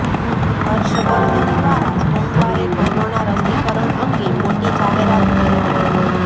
હર્ષ વર્ધન દ્વારા સોમવારે કોરોના રસીકરણ અંગે મોટી જાહેરાત કરી હતી